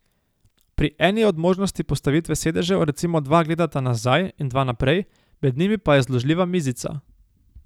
Pri eni od možnosti postavitve sedežev recimo dva gledata nazaj in dva naprej, med njimi pa je zložljiva mizica.